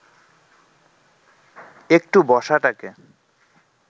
একটু বসাটাকে